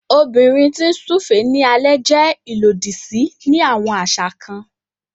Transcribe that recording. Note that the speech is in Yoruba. Obìnrin ti n súfèé ní alẹ jẹ ilodi sí ni awọn aṣa kàn